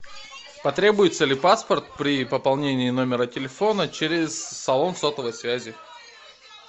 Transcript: потребуется ли паспорт при пополнении номера телефона через салон сотовой связи